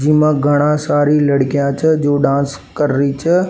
जी मा घना सारी लड़किया छे जो डांस कर री छे।